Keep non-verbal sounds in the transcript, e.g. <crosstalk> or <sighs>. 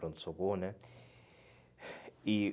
Pronto-socorro, né? <sighs> E